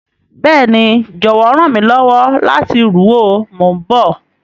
Béèni, jọwọ ran mi lọwọ lati ru o, mo n bọ.